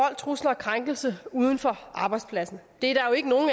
trusler og krænkelse uden for arbejdspladsen der